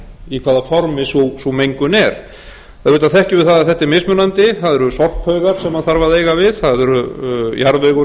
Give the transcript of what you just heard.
í hvaða formi sú mengun er auðvitað þekkjum við það að þetta er mismunandi það eru sorphaugar sem þarf að eiga við það er jarðvegur